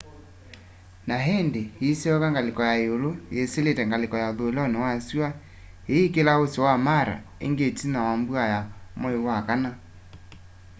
na indi iisyoka ngaliko ya iulu yisilite ngaliko ya uthuiloni wa sua iikila usi wa mara ingi itina wa mbua ya mwai wa kana